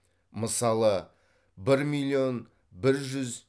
мысалы бір миллион бір жүз